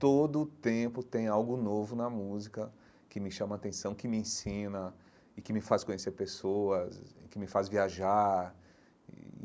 Todo tempo tem algo novo na música que me chama a atenção, que me ensina e que me faz conhecer pessoas, e que me faz viajar e.